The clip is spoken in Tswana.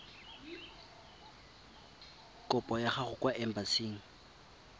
kopo ya gago kwa embasing